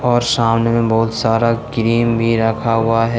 और सामने बहुत सारा क्रीम भी रखा हुआ है।